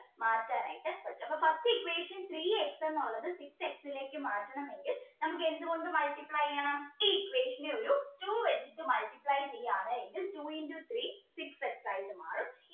മാറ്റാൻ ആയിട്ട് പറ്റും അപ്പോ first equation three x എന്നുള്ളത് six x ലേക്ക് മാറ്റണമെങ്കിൽ നമുക്ക് എന്തുകൊണ്ട് multiply ചെയ്യണം equation നെ ഒരു two വെച്ച് multiply ചെയ്യാണ് എങ്കിൽ two into three six x ആയിട്ട് മാറും